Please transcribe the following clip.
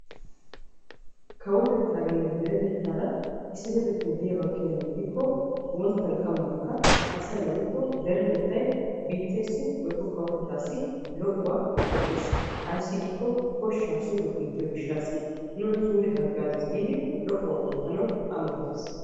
kawotettaaranne deretettaara issipetettay diyaaba gidiyaaba gidikko wonttan qammankka asay woykko deretettay biitteessi woykko kawotettaassi lo'uwa qoppees. ayssi giikko koshshaa suure kunttiyo gishaassi nuna suure hagaazziis giidi lo'uwa oottanawu ammotees.